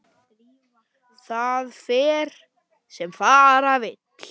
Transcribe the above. En það fer sem fara vill.